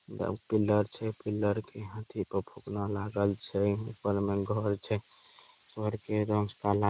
इधर पिल्लर छै। पिल्लर के हाथी पर फुकना लागल छै। ऊपर में घर छै। घर के रंग काला--